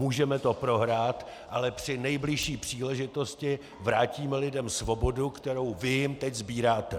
Můžeme to prohrát, ale při nejbližší příležitosti vrátíme lidem svobodu, kterou vy jim teď sbíráte.